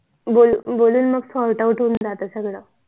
बोलून बोलून मग SORT OUT होऊन जात सगळं